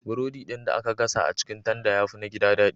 Burodi ɗin da aka gasa a cikin tanda ya fi na gida daɗi.